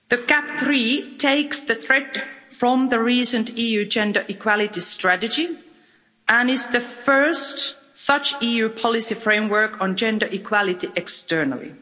GAP III takes the thread from the recent EU Gender Equality Strategy and is the first such EU policy framework on gender equality externally.